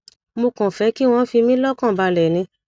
mo kàn fẹ kí wọn fi mí lọkàn balẹ ni